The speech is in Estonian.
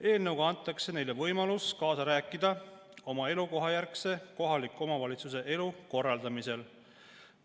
Eelnõuga antakse neile võimalus kaasa rääkida oma elukohajärgse kohaliku omavalitsuse elu korraldamisel.